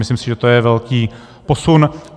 Myslím si, že je to velký posun.